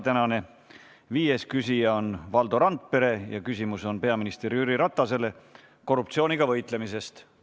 Tänane viies küsija on Valdo Randpere ja küsimus on peaminister Jüri Ratasele korruptsiooniga võitlemise kohta.